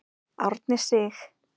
Árni Sig.